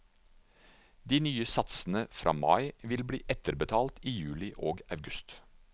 De nye satsene fra mai vil bli etterbetalt i juli og august.